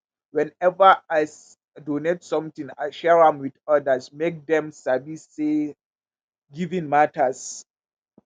whenever i donate something i share am with others make dem sabi say giving matters.